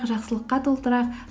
жақсылыққа толтырайық